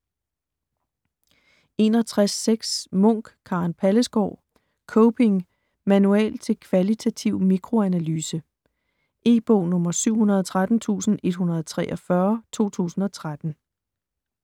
61.6 Munk, Karen Pallesgaard: Coping: manual til kvalitativ mikroanalyse E-bog 713143 2013.